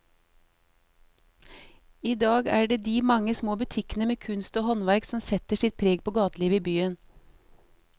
I dag er det de mange små butikkene med kunst og håndverk som setter sitt preg på gatelivet i byen.